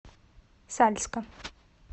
сальска